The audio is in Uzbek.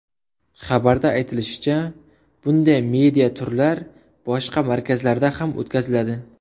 Xabarda aytilishicha, bunday media-turlar boshqa markazlarda ham o‘tkaziladi.